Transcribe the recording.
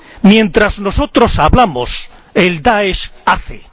Mientras nosotros hablamos, el DAESH hace